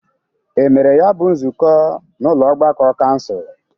E mere ya bụ nzụkọ n'ụlọ ọgbakọ kansụl?